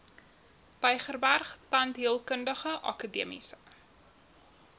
tygerberg tandheelkundige akademiese